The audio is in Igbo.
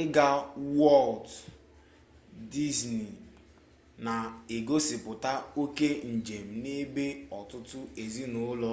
ịga wọlt dizni na-egosipụta oke njem n'ebe ọtụtụ ezinụlọ